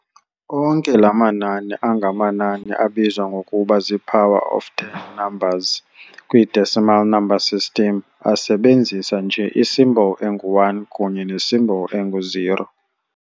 Onke ke la mamnani angamanani abizwa ngokuba zii-"power of ten numbers" kwi-decimal number system asebenzisa nje i-symbol engu-"1" kunye ne-symbol engu-"0".